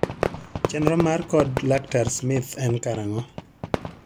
Chenro mar kod laktar Smith en karang'o?